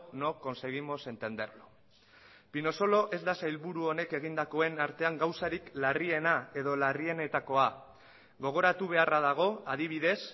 no conseguimos entenderlo pinosolo ez da sailburu honek egindakoen artean gauzarik larriena edo larrienetakoa gogoratu beharra dago adibidez